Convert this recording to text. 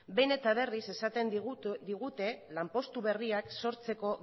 behin eta berriz esaten digute lanpostu berriak sortzeko